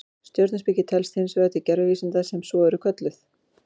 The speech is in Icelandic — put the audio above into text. Stjörnuspeki telst hins vegar til gervivísinda sem svo eru kölluð.